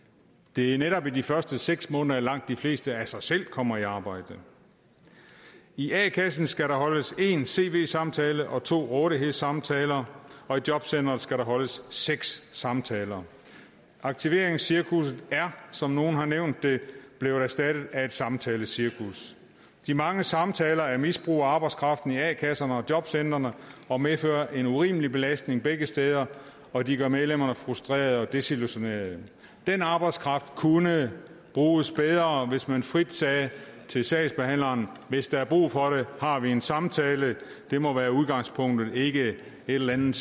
det er netop i de første seks måneder at langt de fleste af sig selv kommer i arbejde i a kassen skal der holdes en cv samtale og to rådighedssamtaler og i jobcenteret skal der holdes seks samtaler aktiveringscirkusset er som nogle har nævnt det blevet erstattet af et samtalecirkus de mange samtaler er misbrug af arbejdskraften i a kasserne og jobcentrene og medfører en urimelig belastning begge steder og de gør medlemmerne frustrerede og desillusionerede den arbejdskraft kunne bruges bedre hvis man frit sagde til sagsbehandleren hvis der er brug for det har vi en samtale det må være udgangspunktet ikke et eller andet